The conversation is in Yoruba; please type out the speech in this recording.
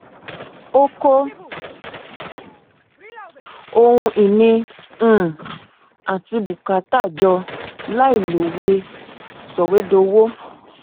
ó kó ohun ìní um àti bùkátà jọ láìlọ ìwé sọwédowó